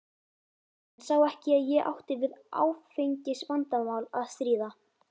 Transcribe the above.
Hann sá ekki að ég átti við áfengisvandamál að stríða.